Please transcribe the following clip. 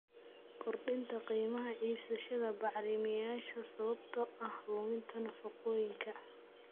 Kordhinta qiimaha iibsashada bacrimiyeyaasha sababtoo ah luminta nafaqooyinka.